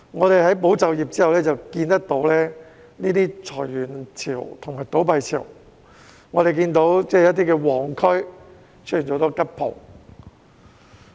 在"保就業"計劃完結後，我們看到裁員潮和倒閉潮，一些旺區出現很多"吉鋪"。